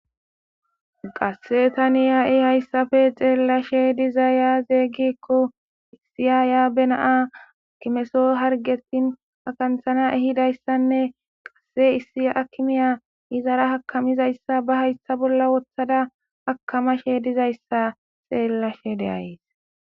Qase tani ha'i hayissappe xelashshe dizay aze gikko issi ayiya baa na akemiso hargesi akanthana ehidayissanne qase issi akimeya izara akamizayssa ba hayitha bolla woththada akamashe dizayissa xelashshe de'ays